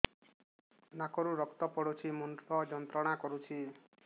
ନାକ ରୁ ରକ୍ତ ପଡ଼ୁଛି ମୁଣ୍ଡ ଯନ୍ତ୍ରଣା କରୁଛି